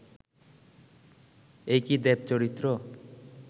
এই কি দেব-চরিত্র